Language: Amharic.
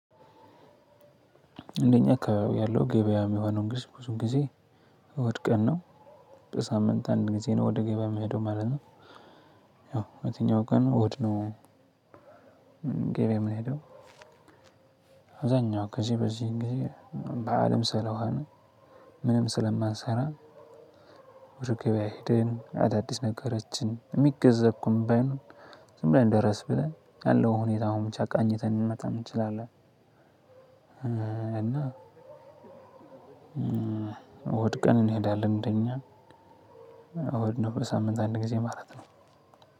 እንደኛ አካባቢ ያለው ገበያ እሚሆነው ግስብ ብዙ ጊዜ እሁድ ቀን ነው። በሳምንት አንድ ጊዜ ነው ወደ ገበያ እምሄደው ማለት ነው። ያው የትኛው ቀን ነው? ገበያ እምሄደው። አዛኛው ከዚህ በዚህ ጊዜ በዓልም ስለሆነ ምንም ስለማንሰራ። ወደ ገብያ ሄደን አዳዲስ ነገሮችን እሚገዛ እንኳን ባይኖር ዝም ብለን ደረስ ብለን ያለው ሁኔታ ብቻ ጫቃኝተን ልንመጣም እንችላለን። እና እሁድ ቀን እንሄዳለን። እንደኛ እሁድ ነው በሳምንት አንድ ጊዜ ማለት ነው።